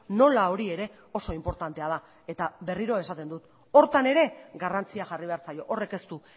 nola hori ere oso inportantea da eta berriro esaten dut horretan ere garrantzia jarri behar zaio horrek ez du